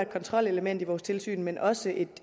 kontrolelement i vores tilsyn men også